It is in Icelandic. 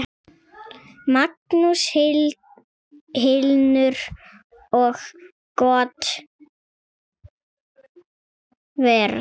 Magnús Hlynur: Og gott verð?